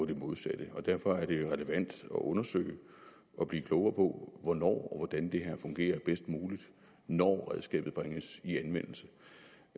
det modsatte derfor er det relevant at undersøge og blive klogere på hvornår og hvordan det her fungerer bedst muligt når redskabet bringes i anvendelse